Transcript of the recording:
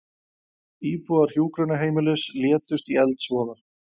Íbúar hjúkrunarheimilis létust í eldsvoða